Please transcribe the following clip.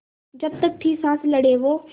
जब तक थी साँस लड़े वो